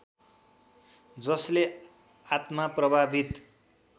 जसले आत्मा प्रभावित